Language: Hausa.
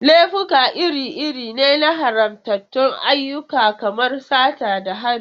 Laifuka iri-iri ne na haramtattun ayyuka kamar sata da hari.